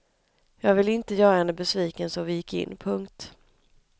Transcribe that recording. Jag ville inte göra henne besviken så vi gick in. punkt